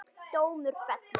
Dómur fellur